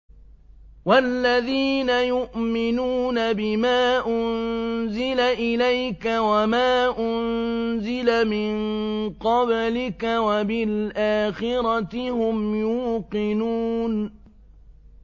وَالَّذِينَ يُؤْمِنُونَ بِمَا أُنزِلَ إِلَيْكَ وَمَا أُنزِلَ مِن قَبْلِكَ وَبِالْآخِرَةِ هُمْ يُوقِنُونَ